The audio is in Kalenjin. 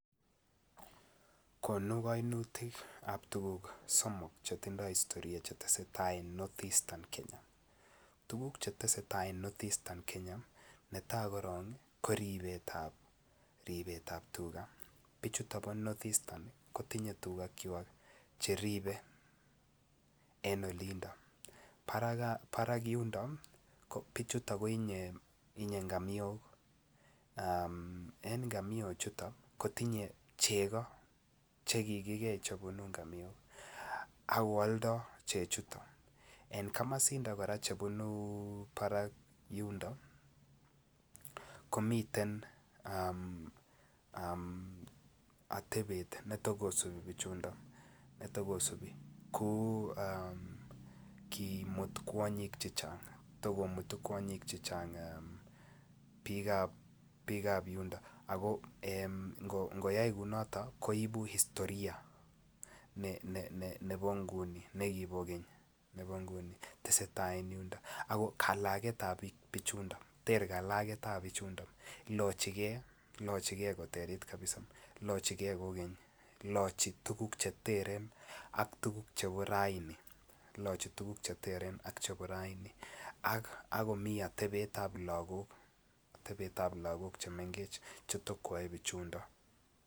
Tuguk chetesetai en northeastern Kenya, netai koron ko ribet ab tuga, bichuto kotinye tuga cheribe ,barak en yundo kotinye ngamiok chetinye chego akeoldo chechuton. En komosindo chebunu barak yundo komiten atebet netokosu biik kora ko takomutu kwonyik chechang' biik ab yundo ako ngokai kounoto koibu historia nekibokeny. Ter kalaket ab bichundo, ilochigei koterit kabisa kou keny ,ilochi tuguk cheteren ak chebo raini akomi otebet ab lagok chemngech chetokoyoe bichundo.